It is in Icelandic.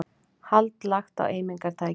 Hald lagt á eimingartæki